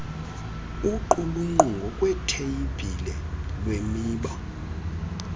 uqulunqo ngokwetheyibhile lwemiba